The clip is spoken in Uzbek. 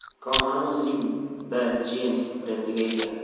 Korxona o‘zining B Jeans brendiga ega.